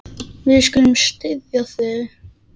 Við skulum styðja þig.